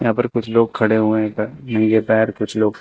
यहां पर कुछ लोग खड़े हुए इधर नंगे पैर कुछ लोग--